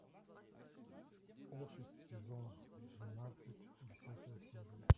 офис сезон двенадцать десятая серия